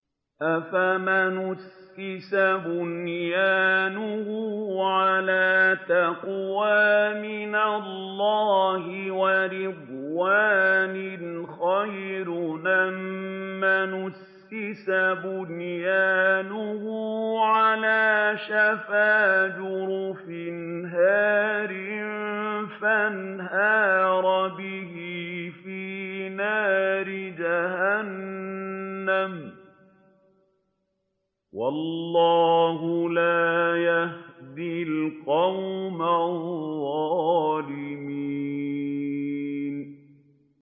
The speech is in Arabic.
أَفَمَنْ أَسَّسَ بُنْيَانَهُ عَلَىٰ تَقْوَىٰ مِنَ اللَّهِ وَرِضْوَانٍ خَيْرٌ أَم مَّنْ أَسَّسَ بُنْيَانَهُ عَلَىٰ شَفَا جُرُفٍ هَارٍ فَانْهَارَ بِهِ فِي نَارِ جَهَنَّمَ ۗ وَاللَّهُ لَا يَهْدِي الْقَوْمَ الظَّالِمِينَ